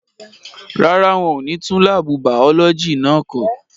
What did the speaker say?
Rárá, wọ́n ò ní tún láàbù bàọ́lọ́jì náà kọ́.